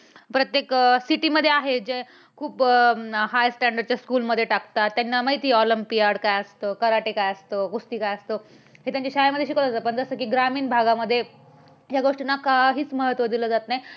प्रत्येक city मध्ये आहे, कि जे खूप high standard च्या school मध्ये टाकतात त्यांना माहित आहे olympiad काय असतं karate काय असतं कुस्ती काय असतं. हे त्यांच्या शाळेमध्ये शिकवलं जातं पण जसं की ग्रामीण भागामध्ये या गोष्टींना काहीच महत्व दिलं जात नाही